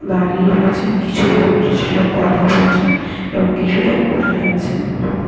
দাঁড়িয়ে রয়েছেন কিছুলোক কিছুলোক কথা বলছেন এবং কিছুলোক বসে আছেন ।